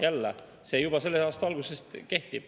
Jälle, see juba selle aasta algusest kehtib.